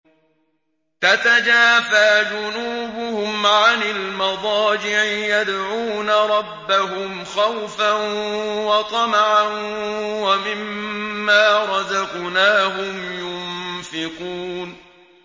تَتَجَافَىٰ جُنُوبُهُمْ عَنِ الْمَضَاجِعِ يَدْعُونَ رَبَّهُمْ خَوْفًا وَطَمَعًا وَمِمَّا رَزَقْنَاهُمْ يُنفِقُونَ